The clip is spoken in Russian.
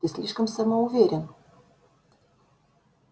ты слишком самоуверен